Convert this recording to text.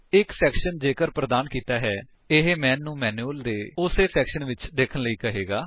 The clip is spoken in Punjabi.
ਇੱਕ ਸੈਕਸ਼ਨ ਜੇਕਰ ਪ੍ਰਦਾਨ ਕੀਤਾ ਹੈ ਇਹ ਮੈਨ ਨੂੰ ਮੈਨਿਊਅਲ ਦੇ ਉਸੇ ਸੈਕਸ਼ਨ ਵਿਚ ਦੇਖਣ ਲਈ ਕਹੇਗਾ